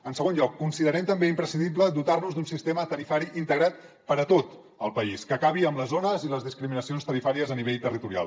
en segon lloc considerem també imprescindible dotar nos d’un sistema tarifari integrat per a tot el país que acabi amb les zones i les discriminacions tarifàries a nivell territorial